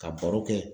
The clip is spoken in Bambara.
Ka baro kɛ